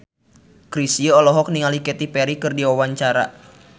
Chrisye olohok ningali Katy Perry keur diwawancara